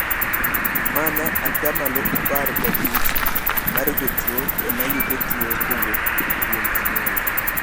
Mana atamalo apar gapich mar jotuo emanoyudo tuo kowuok kuom anyuola.